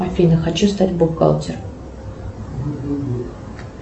афина хочу стать бухгалтером